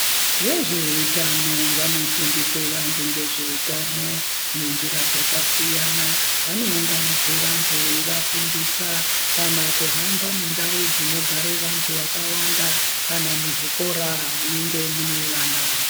Vezveutano vanofundisa vantu ngezveutano nenjira dzakasiyana vanounganidze vantu veivafundisa kanakuhamba mundau dzinogarae vantu vakawanda kana muzvikora munenge mune vana.